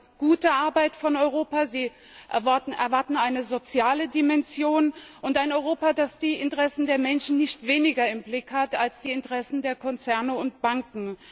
Sie erwarten gute Arbeit von Europa, sie erwarten eine soziale Dimension und ein Europa, das die Interessen der Menschen nicht weniger im Blick hat als die Interessen der Konzerne und Banken.